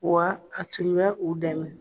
Wa a tun bɛ u dɛmɛ